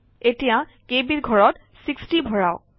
এতিয়া KB ৰ ঘৰত 60 ভৰাওক